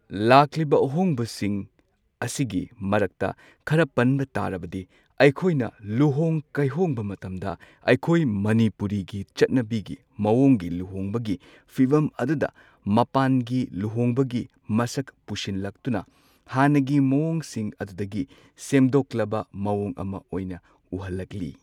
ꯂꯥꯛꯂꯤꯕ ꯑꯍꯣꯡꯕꯁꯤꯡ ꯑꯁꯤꯒꯤ ꯃꯔꯛꯇ ꯈꯔ ꯄꯟꯕ ꯇꯥꯔꯕꯗꯤ ꯑꯩꯈꯣꯏꯅ ꯂꯨꯍꯣꯡ ꯀꯩꯍꯣꯡꯕ ꯃꯇꯝꯗ ꯑꯩꯈꯣꯏ ꯃꯅꯤꯄꯨꯔꯤꯒꯤ ꯆꯠꯅꯕꯤꯒꯤ ꯃꯑꯣꯡꯒꯤ ꯂꯨꯍꯣꯡꯕꯒꯤ ꯐꯤꯕꯝ ꯑꯗꯨꯗ ꯃꯄꯥꯟꯒꯤ ꯂꯨꯍꯣꯡꯕꯒꯤ ꯃꯁꯛ ꯄꯨꯁꯤꯜꯂꯛꯇꯨꯅ ꯍꯥꯟꯅꯒꯤ ꯃꯑꯣꯡꯁꯤꯡ ꯑꯗꯨꯗꯒꯤ ꯁꯦꯝꯗꯣꯛꯂꯕ ꯃꯑꯣꯡ ꯑꯃ ꯑꯣꯏꯅ ꯎꯍꯜꯂꯛꯂꯤ꯫